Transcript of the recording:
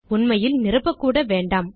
உண்மையில் நிரப்பக் கூட வேண்டாம்